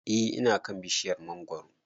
E ina kan bishiryar mangoro